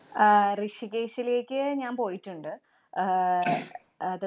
ആഹ് ഋഷികേശിലേക്ക് ഞാന്‍ പോയിട്ടുണ്ട്. ആഹ്